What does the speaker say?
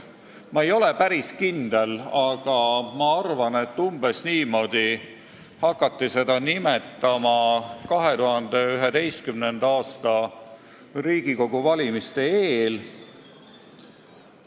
Ma ei ole päris kindel, aga arvan, et umbes niimoodi hakati seda nimetama 2011. aasta Riigikogu valimiste eel.